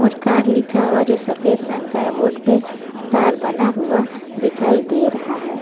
और कार्ड लिखा हुआ जो सफेद रंग का है बोर्ड पे कार बना हुआ दिखाई दे रहा है।